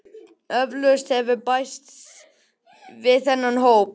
Eflaust hefur bæst í þennan hóp